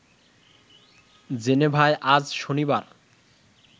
জেনেভায় আজ শনিবার